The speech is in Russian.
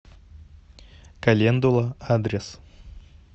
календула адрес